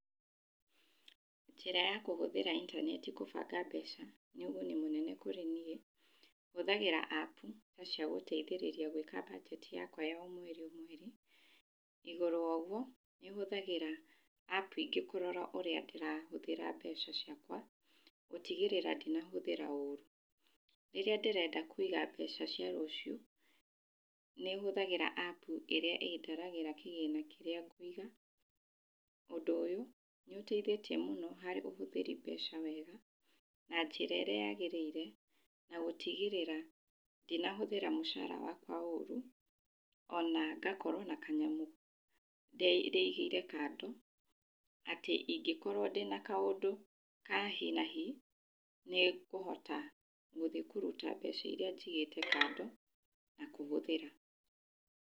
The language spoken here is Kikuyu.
Njĩra ya kũhũthĩra intaneti kũbanga mbeca, nĩ ũguni mũnene kũrĩ niĩ. Hũthagĩra app cia gũteithĩrĩria gwĩka mbajeti yakwa ya o mweri o mweri. Igũrũ wa ũguo nĩhũthagĩra app ingĩ kũrora ũrĩa ndĩrahũthĩra mbeca ciakwa gũtigĩrĩra ndinahũthĩra ũru. Rĩrĩa ndĩrenda kũiga mbeca cia rũcio, nĩhũthagĩra app ĩrĩa ĩndaragĩra kĩgĩna kĩrĩa ngũiga. Ũndũ ũyũ nĩ ũteithĩtie mũno harĩ ũhũthĩri mbeca wega na njĩra ĩrĩa yagĩrĩire na gũtigĩrĩra ndinahũthĩra mũcaara wakwa ũru, ona ngakorwo na kanyamũ ndĩigĩire kando, atĩ ingĩkorwo ndĩna kaũndũ ka hi na hi nĩ ngũhota gũthiĩ kũruta mbeca irĩa njigĩte kando, na kũhũthĩra.